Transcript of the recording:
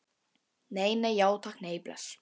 Nei, nei, já takk, nei, bless.